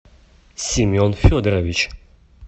семен федорович